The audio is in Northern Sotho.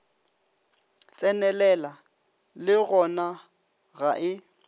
tsenelela le gona ga e